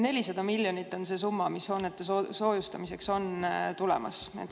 400 miljonit on see summa, mis soojustamiseks on tulemas.